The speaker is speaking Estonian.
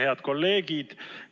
Head kolleegid!